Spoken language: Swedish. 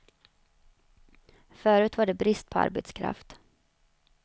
Förut var det brist på arbetskraft.